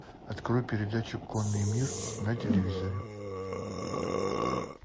открой передачу конный мир на телевизоре